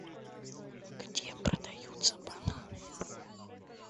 где продаются бананы